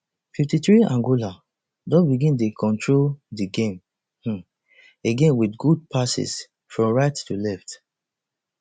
fifty-threeangola don begin dey control di game um again wit good passes from right to left